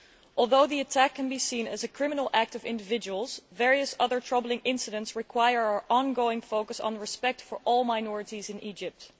Although the attack can be seen as a criminal act of individuals, various other troubling incidents require our ongoing focus on respect for all minorities in Egypt.